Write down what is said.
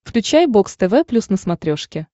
включай бокс тв плюс на смотрешке